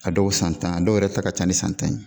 A dɔw san tan dɔw yɛrɛ ta ka ca ni san tan ye